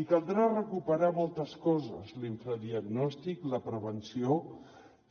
i caldrà recuperar moltes coses l’infradiagnòstic la prevenció